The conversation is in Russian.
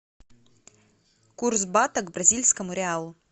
курс бата к бразильскому реалу